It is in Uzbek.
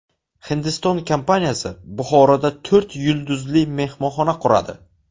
Hindiston kompaniyasi Buxoroda to‘rt yulduzli mehmonxona quradi.